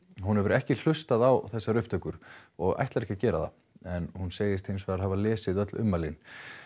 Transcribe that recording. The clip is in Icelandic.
hún hefur ekki hlustað á upptökurnar og ætlar ekki að gera það en hún segist hafa lesið öll ummælin